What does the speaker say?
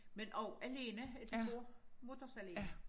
Men også alene de går mutters alene